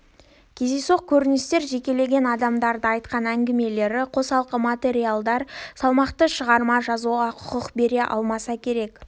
кездейсоқ көріністер жекелеген адамдардың айтқан әңгімелері қосалқы материалдар салмақты шығарма жазуға құқық бере алмаса керек